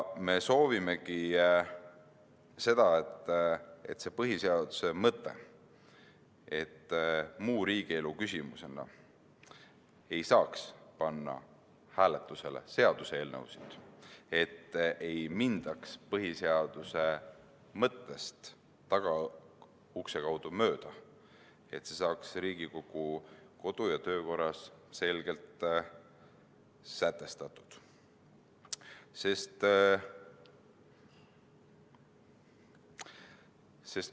Me soovimegi, et see põhiseaduse mõte, mille kohaselt muu riigielu küsimusena ei saa hääletusele panna seaduseelnõusid – et ei mindaks põhiseaduse mõttest tagaukse kaudu mööda –, saaks Riigikogu kodu- ja töökorras selgelt sätestatud.